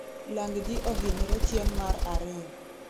lang ji ohinyre ching' mar ariyo